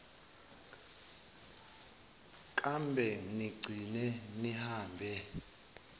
kambe nigcine nihambe